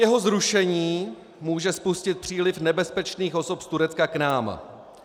Jeho zrušení může spustit příliv nebezpečných osob z Turecka k nám.